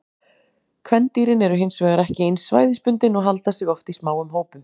Kvendýrin eru hin vegar ekki eins svæðisbundin og halda sig oft í smáum hópum.